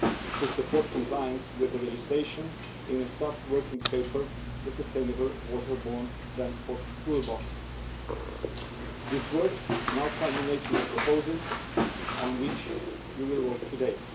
to support compliance with the legislation in a staff working paper entitled the Sustainable Waterborne Transport Toolbox. This work has now culminated in the proposal on which you will vote today.